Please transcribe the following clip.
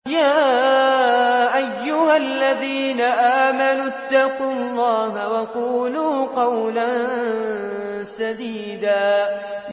يَا أَيُّهَا الَّذِينَ آمَنُوا اتَّقُوا اللَّهَ وَقُولُوا قَوْلًا سَدِيدًا